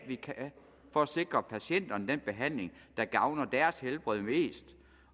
vi kan for at sikre patienterne den behandling der gavner deres helbred mest